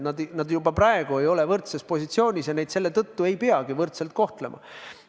Nad juba praegu ei ole võrdses positsioonis ja neid selle tõttu ei peagi võrdselt kohtlema.